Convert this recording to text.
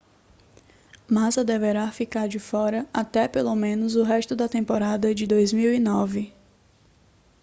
massa deverá ficar de fora até pelo menos o resto da temporada de 2009